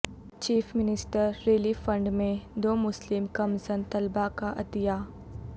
chief minister relief fund میں دو مسلم کمسن طلبہ کا عطیہ